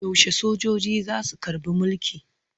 Yaushe sojoji za su karɓi mulki?